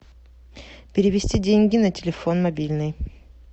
перевести деньги на телефон мобильный